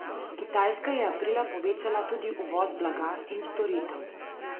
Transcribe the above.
Kitajska je aprila povečala tudi uvoz blaga in storitev.